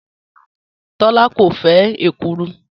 Tọ́lá kò fẹ́ èkuru